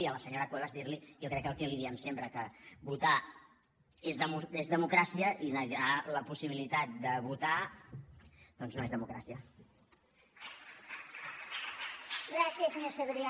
i a la senyora cuevas dir li jo crec que el que li diem sempre que votar és democràcia i negar la possibilitat de votar doncs no és democràcia